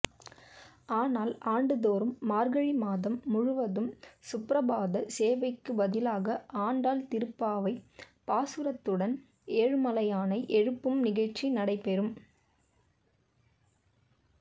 ஆனால் ஆண்டுதோறும் மார்கழி மாதம் முழுவதும் சுப்ரபாத சேவைக்கு பதிலாக ஆண்டாள் திருப்பாவை பாசுரத்துடன் ஏழுமலையானை எழுப்பும் நிகழ்ச்சி நடைபெறும்